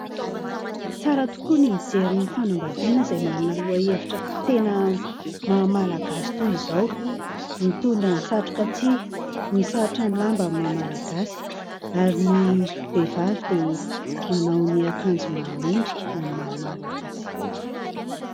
Tsara tokoa ny mijery ny fanambadiana izay manana lohahevitra tena maha-malagasy toy izao. Mitondra ny satroka tsihy, misalotra ny lamba amin'ny maha-malagasy ary ny vehivavy dia manao ny akanjo mahamendrika amin'ny maha-malagasy.